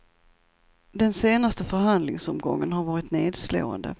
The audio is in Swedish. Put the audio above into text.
Den senaste förhandlingsomgången har varit nedslående.